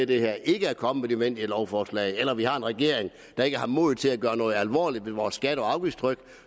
det her ikke er kommet nødvendige lovforslag eller at vi har en regering der ikke har modet til at gøre noget alvorligt ved vores skatte og afgiftstryk